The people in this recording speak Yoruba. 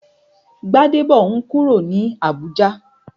Gbadebo n kúrò ní Abùjá